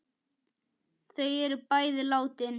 Þau eru bæði látin.